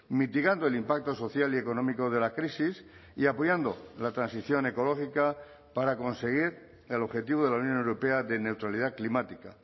mitigando el impacto social y económico de la crisis y apoyando la transición ecológica para conseguir el objetivo de la unión europea de neutralidad climática